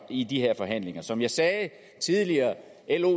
i de her forhandlinger som jeg sagde tidligere